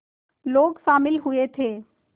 लोग शामिल हुए थे